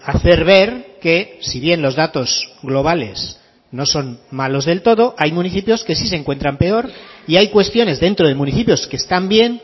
a hacer ver que si bien los datos globales no son malos del todo hay municipios que sí se encuentran peor y hay cuestiones dentro de municipios que están bien